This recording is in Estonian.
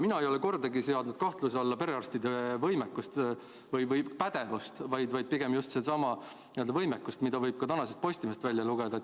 Mina ei ole kordagi seadnud kahtluse alla perearstide pädevust, vaid pigem just sedasama võimekust, mille kohta võib ka tänasest Postimehest lugeda.